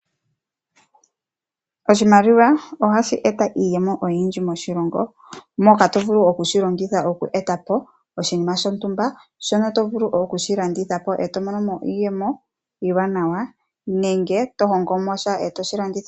Oshimaliwa ohashi e ta iiyemo oyindji moshilongo moka to vulu okushi longitha oku eta po oshinima shontumba shono to vulu okushi landitha po eto mono mo iiyemo iiwanawa nenge to kongo mo sha e to shi landitha.